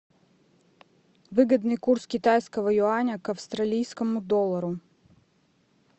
выгодный курс китайского юаня к австралийскому доллару